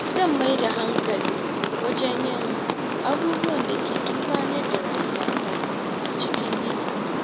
Zan mai da hankali wajen yin abubuwan da ke amfanar da rayuwata a cikin yinin yau.